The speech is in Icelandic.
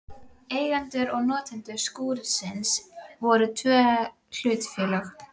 Eigendur og notendur skúrsins voru tvö hlutafélög.